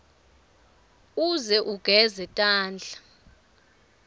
uze ugeze tandla